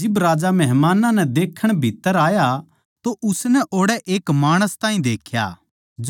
जिब राजा मेहमानां नै देखण भीत्त्तर आया तो उसनै ओड़ै एक माणस ताहीं देख्या